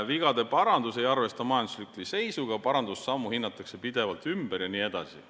Vigade parandus ei arvesta majandusliku seisuga, parandussammu hinnatakse pidevalt ümber jne.